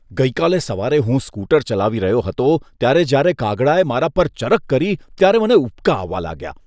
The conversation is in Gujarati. ગઈકાલે સવારે હું સ્કૂટર ચલાવી રહ્યો હતો ત્યારે જ્યારે કાગડાએ મારા પર ચરક કરી ત્યારે મને ઉબકા આવવા લાગ્યા.